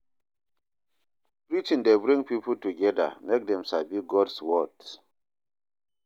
Preaching dey bring pipo together mek dem sabi God’s word.